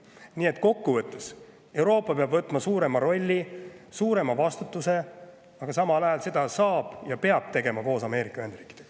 Nii et kokku võttes peab Euroopa võtma suurema rolli ja suurema vastutuse, aga samal ajal saab seda teha ja peab tegema koos Ameerika Ühendriikidega.